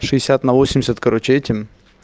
шестьдесят на восемьдесят короче этим